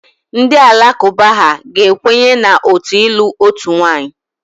Ndị Alakụba ha ga-ekwenye na otu ịlụ otu nwaanyị.